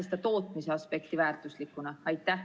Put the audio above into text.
Kas teie peate seda tootmise aspekti väärtuslikuks?